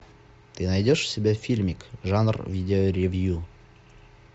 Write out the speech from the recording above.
ты найдешь у себя фильмик жанр видеоревью